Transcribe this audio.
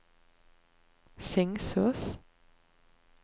Singsås